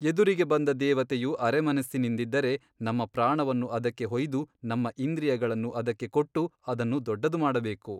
ಎದುರಿಗೆ ಬಂದ ದೇವತೆಯು ಅರೆಮನಸ್ಸಿನಿಂದಿದ್ದರೆ ನಮ್ಮ ಪ್ರಾಣವನ್ನು ಅದಕ್ಕೆ ಹೊಯ್ದು ನಮ್ಮ ಇಂದ್ರಿಯಗಳನ್ನು ಅದಕ್ಕೆ ಕೊಟ್ಟು ಅದನ್ನು ದೊಡ್ಡದು ಮಾಡಬೇಕು.